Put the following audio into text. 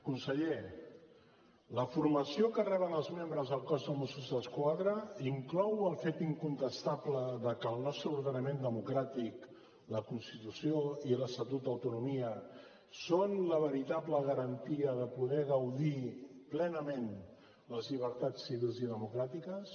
conseller la formació que reben els membres del cos de mossos d’esquadra inclou el fet incontestable de que el nostre ordenament democràtic la constitució i l’estatut d’autonomia és la veritable garantia de poder gaudir plenament les llibertats civils i democràtiques